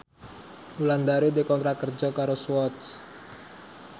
Wulandari dikontrak kerja karo Swatch